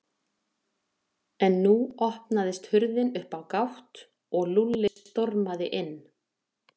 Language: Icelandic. En nú opnaðist hurðin upp á gátt og Lúlli stormaði inn.